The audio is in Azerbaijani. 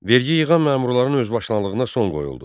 Vergi yığan məmurların özbaşınalığına son qoyuldu.